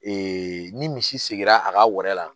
ni misi sigira a ka wɔri la